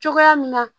Cogoya min na